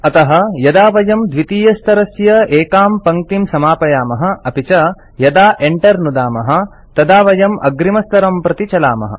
अतः यदा वयं द्वितीयस्तरस्य एकां पङ्क्तिं समापयामः अपि च यदा Enter नुदामः तदा वयं अग्रिमस्तरं प्रति चलामः